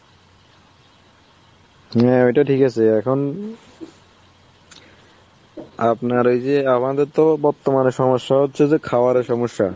হ্যাঁ ওটা ঠিক আছে. এখন আপনার এই যে আমাদের তো বর্তমানে সমস্যা হচ্ছে যে খাবারের সমস্যা.